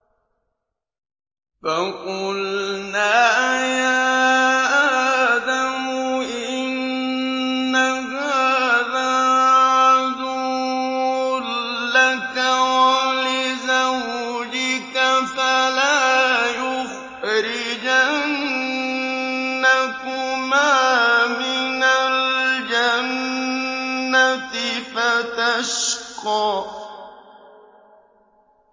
فَقُلْنَا يَا آدَمُ إِنَّ هَٰذَا عَدُوٌّ لَّكَ وَلِزَوْجِكَ فَلَا يُخْرِجَنَّكُمَا مِنَ الْجَنَّةِ فَتَشْقَىٰ